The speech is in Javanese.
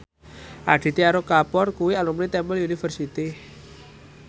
Aditya Roy Kapoor kuwi alumni Temple University